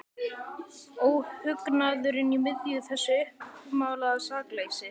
Óhugnaðurinn í miðju þessu uppmálaða sakleysi.